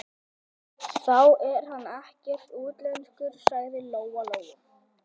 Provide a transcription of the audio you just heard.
Þá er hann ekkert útlenskur, sagði Lóa-Lóa.